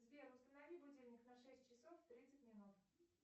сбер установи будильник на шесть часов тридцать минут